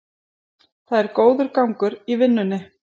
Það er góður gangur í vinnunni